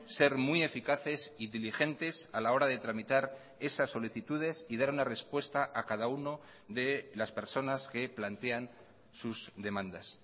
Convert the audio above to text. ser muy eficaces y diligentes a la hora de tramitar esas solicitudes y dar una respuesta a cada uno de las personas que plantean sus demandas